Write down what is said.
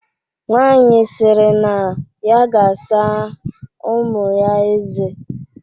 Nwaanyị sịrị na ya ga-asa ụmụ ya eze.